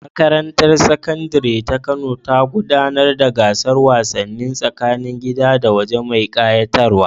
Makarantar Sakandare ta Kano ta gudanar da gasar wasanni tsakanin gida da waje mai ƙayatarwa.